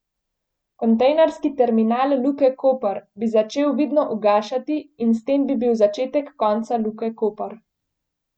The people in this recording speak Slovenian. Kontejnerski terminal Luke Koper bi začel vidno ugašati in s tem bi bil začetek konca Luke Koper.